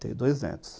Tenho dois netos.